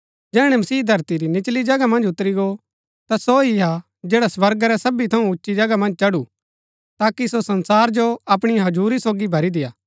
जैहणै मसीह धरती री निचली जगहा मन्ज उतरी गो ता सो ही हा जैडा स्वर्गा रै सबी थऊँ उची जगह मन्ज चढु ताकि सो संसार जो अपणी हजुरी सोगी भरी देय्आ